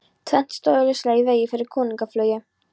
Tvennt stóð augljóslega í vegi fyrir könnunarflugi